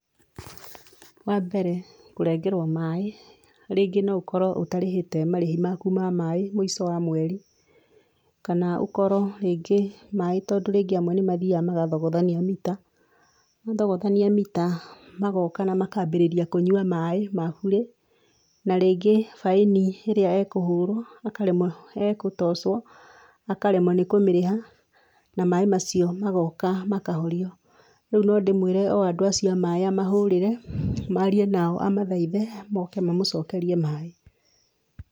Wa mbere kũrengerwo maĩ, rĩngĩ no ũkorwo ũtarĩhĩte marĩhi maku ma maĩ mũico wa mweri kana ũkorwo rĩngĩ maĩ tondũ rĩmwe andũ nĩ mathiaga magathogothania mita, mathogothania mita magoka na makanjia kũnyua maĩa bũrĩ na rĩngĩ baĩni ĩrĩa ekũhũrwo akaremwo egũtocwo, akaremwo nĩ kũmĩrĩha na maĩ macio magoka makahorio, nĩ ndĩmwere andũ o acio a maĩ a mahũrĩre a mathaithe moke mamũcokerie maĩ.